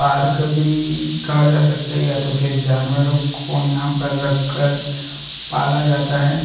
Park भी कहा जा सकता है या तो फिर जानवरों को यहाँ पर रख कर पाला जाता है ।